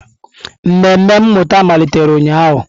Mmemme mmụta malitere ụnyahụ.